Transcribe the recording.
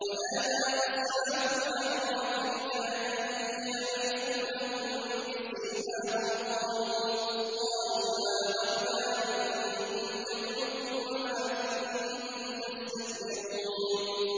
وَنَادَىٰ أَصْحَابُ الْأَعْرَافِ رِجَالًا يَعْرِفُونَهُم بِسِيمَاهُمْ قَالُوا مَا أَغْنَىٰ عَنكُمْ جَمْعُكُمْ وَمَا كُنتُمْ تَسْتَكْبِرُونَ